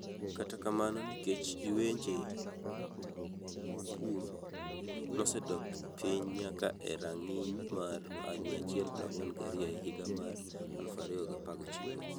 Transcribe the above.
Kata kamano nikech lwenje mokrum, nosedok piny nyaka e rang’iny mar 142 e higa mar 2016.